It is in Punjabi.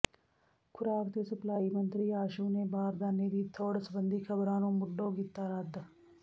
ਖੁਰਾਕ ਤੇ ਸਪਲਾਈ ਮੰਤਰੀ ਆਸ਼ੂ ਨੇ ਬਾਰਦਾਨੇ ਦੀ ਥੁੜ੍ਹ ਸਬੰਧੀ ਖਬਰਾਂ ਨੂੰ ਮੁੱਢੋਂ ਕੀਤਾ ਰੱਦ